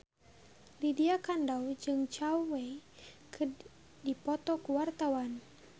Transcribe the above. Lydia Kandou jeung Zhao Wei keur dipoto ku wartawan